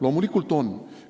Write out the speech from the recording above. " Loomulikult on!